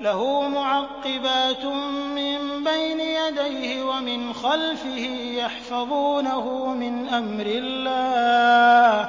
لَهُ مُعَقِّبَاتٌ مِّن بَيْنِ يَدَيْهِ وَمِنْ خَلْفِهِ يَحْفَظُونَهُ مِنْ أَمْرِ اللَّهِ ۗ